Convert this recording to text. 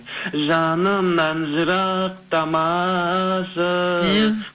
жанымнан жырықтамашы беу